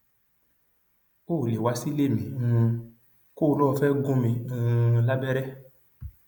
o ò lè wá sílé mi um kó o lọ ò fẹẹ gún mi um lábẹrẹ